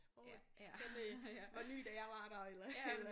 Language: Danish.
Hov øh den øh var ny da jeg var der eller eller